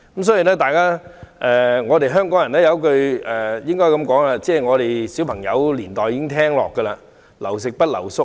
所以，香港人有一句話，我們自小便已經聽到，就是"留食不留宿"。